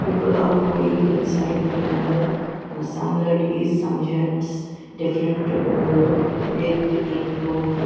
People are going inside the mandir some ladies some gents different uh wearing different clothe.